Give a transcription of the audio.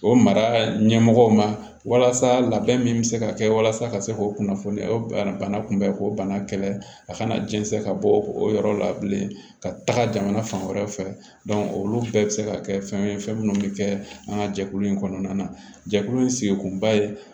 O mara ɲɛmɔgɔw ma walasa labɛn min bɛ se ka kɛ walasa ka se k'o kunnafoniya ye o bana kunbɛ k'o bana kɛlɛ a kana jɛnsɛn ka bɔ o yɔrɔ la bilen ka taga jamana fan wɛrɛ fɛ olu bɛɛ bɛ se ka kɛ fɛn ye fɛn minnu bɛ kɛ an ka jɛkulu in kɔnɔna na jɛkulu ye sigikunba ye